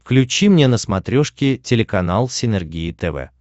включи мне на смотрешке телеканал синергия тв